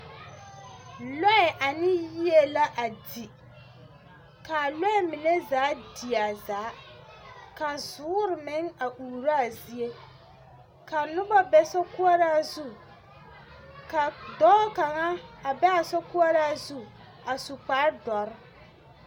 Lɔɛ ane yie la a di. Ka a lɔɛ mine zaa die a zaa, ka zoore meŋ a uuraa zie, ka noba be sokoɔraa zu, ka dɔɔ kaŋa a ba a sokoɔraa zu a su kparre dɔre.